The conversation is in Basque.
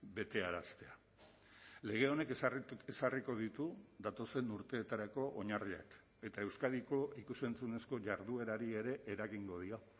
betearaztea lege honek ezarriko ditu datozen urteetarako oinarriak eta euskadiko ikus entzunezko jarduerari ere eragingo dio